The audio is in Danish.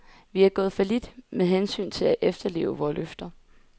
Vi er gået fallit med hensyn til at efterleve vore løfter.